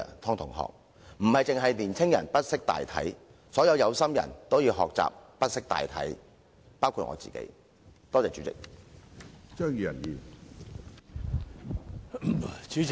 湯同學，並非只有年輕人不識大體，所有有心人都要學習不識大體，包括我自己，多謝主席。